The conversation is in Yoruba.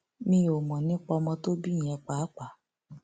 mi ò mọ nípa ọmọ tó bí yẹn pàápàá